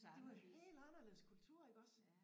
De var helt anderledes kultur iggås